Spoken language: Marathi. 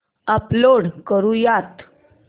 अपलोड करुयात